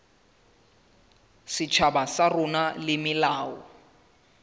setjhaba sa rona le melao